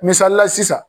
Misalila sisan